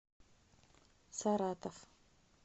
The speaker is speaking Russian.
саратов